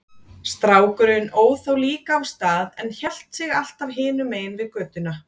Strákurinn óð þá líka af stað en hélt sig alltaf hinum megin við götuna.